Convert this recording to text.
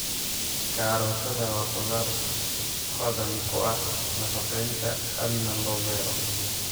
Karootada waa khudaar hodan ku ah nafaqeynta aadna loo beero.